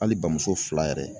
Hali bamuso fila yɛrɛ.